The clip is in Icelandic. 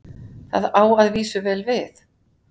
það á að vísu vel við